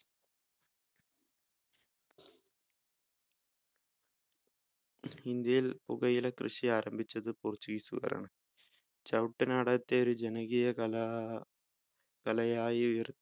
ഇന്ത്യയിൽ പുകയില കൃഷി ആരംഭിച്ചത് portuguese ഉകാരാണ് ചവട്ടുനാടകത്തെ ഒരു ജനകീയാ കലാ കലയായിയുയർ